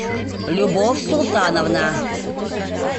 любовь султановна